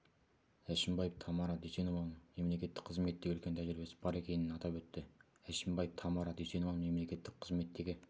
әшімбаев тамара дүйсенованың мемлекеттік қызметтегі үлкен тәжірибесі бар екенін атап өтті әшімбаев тамара дүйсенованың мемлекеттік қызметтегі